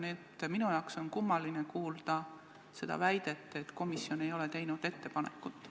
Nii et minul on kummaline kuulda väidet, et komisjon ei ole teinud ettepanekut.